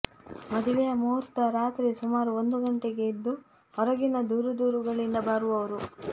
ಮದುವೆಯ ಮಹೂರ್ತ ರಾತ್ರಿ ಸುಮಾರು ಒಂದು ಗಂಟೆಗೆ ಇದ್ದು ಹೊರಗಿನ ದೂರದೂರುಗಳಿಂದ ಬರುವವರು